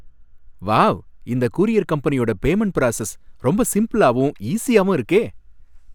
Wow! இந்த courier கம்பெனியோட payment process ரொம்ப சிம்பிளாவும் ஈசியாவும் இருக்கே!